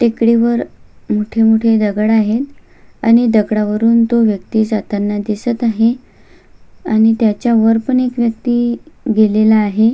टेकडीवर मोठे मोठे दगड आहेत आणि दगडावरून तो व्यक्ति जाताना दिसत आहे आणि त्याच्या वरत पण एक व्यक्ति गेलेला आहे.